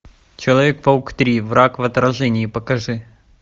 человек паук три враг в отражении покажи